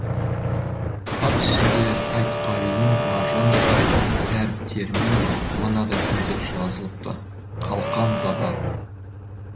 хат ішінде айтқалидың маржандай әріптерімен мынадаи сөздер жазылыпты қалқам зада